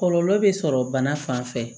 Kɔlɔlɔ bɛ sɔrɔ bana fan fɛ